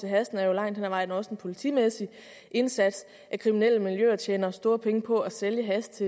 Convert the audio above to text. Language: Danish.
hashen er jo langt hen ad vejen også en politimæssig indsats at kriminelle miljøer tjener store penge på at sælge hash